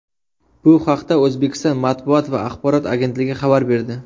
Bu haqda O‘zbekiston matbuot va axborot agentligi xabar berdi .